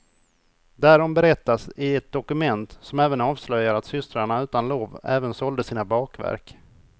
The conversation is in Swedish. Därom berättas i ett dokument, som även avslöjar att systrarna utan lov även sålde sina bakverk.